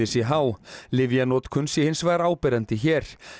sé há lyfjanotkun sé hins vegar áberandi hér